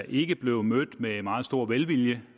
ikke blev mødt med meget stor velvilje